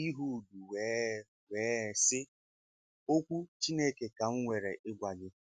Ịhud wèe wèe sị, “Òkwú Chineke ka m nwere ịgwa gị.”